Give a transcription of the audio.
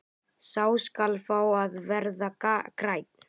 Sá skal fá að verða grænn!